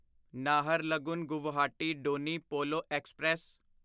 Naharlagun Guwahati Donyi Polo express